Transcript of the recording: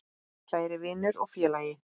Kæri vinur og félagi.